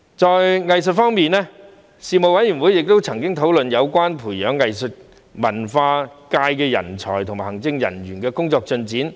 在藝術文化方面，事務委員會曾討論有關培養藝術文化界人才和行政人員的工作進展。